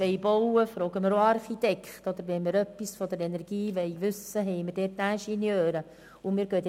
Wir sind bei den Einzelsprechern angelangt.